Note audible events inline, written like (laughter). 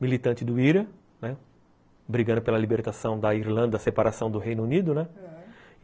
militante do Ira, né, brigando pela libertação da Irlanda, a separação do Reino Unido, né? (unintelligible)